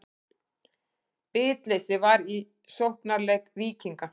Bitleysi var í sóknarleik Víkinga.